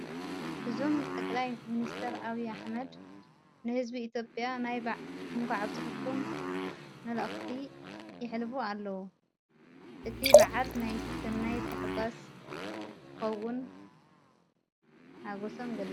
እዞም ጠቕላይ ሚንስተር ኣብይ ኣኅመድ ንሕዝቢ ኢትዮጵያ ናይ እንቋዕ አብጽሕኩም መልእኽቲ የኅልፈፉ ኣለዉ። እቲ በዓል ናይ ሠናይ ተሕጓስ ክኸውን ኣጐሰም ገሊፆም